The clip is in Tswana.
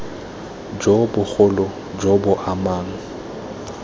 jo bogolo jo bo amang